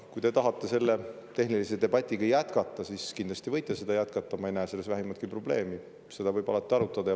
Kui te tahate selle tehnilise debatiga jätkata, siis kindlasti võite seda teha, ma ei näe selles vähimatki probleemi, alati võib arutada.